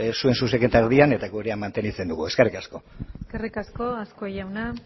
zuen zuzenketa erdian eta gurea mantentzen dugu eskerrik asko eskerrik asko azkue jauna